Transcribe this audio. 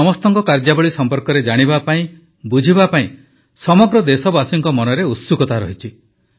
ଏ ସମସ୍ତଙ୍କ କାର୍ଯ୍ୟାବଳୀ ସମ୍ପର୍କରେ ଜାଣିବା ପାଇଁ ବୁଝିବା ପାଇଁ ସମଗ୍ର ଦେଶବାସୀଙ୍କ ମନରେ ଉତ୍ସୁକତା ରହିଛି